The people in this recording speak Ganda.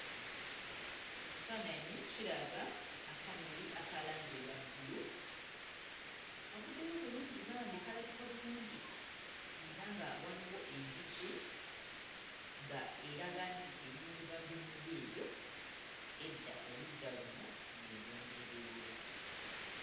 Ekifaananyi kiraga akamuli aka langi eya bbulu kavuddeyo bulungi bambi kalabika bulungi era nga waliwo enjuki nga eraga nti eri mu kuva mbimuli ebyo edda oludda luno yeeyongereyo.